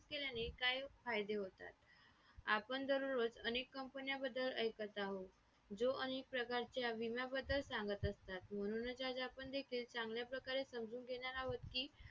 insurance केल्याने काय फायदे होतात आपण दररोज अनेक company बद्दल ऐकत आहात जो अनेक प्रकारच्या विमा बद्दल सांगत असतात म्हणूनच ज्या ज्या आपण आपण case चांगल्या प्रकारे समजून घेणार अहोत